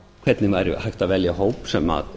hvernig væri hægt að velja hóp sem